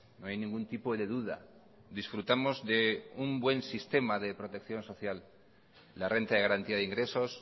no hay ningún tipo de duda disfrutamos de un buen sistema de protección social la renta de garantía de ingresos